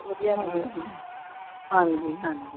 ਵਧੀਆ ਹਾਂਜੀ ਹਾਂਜੀ।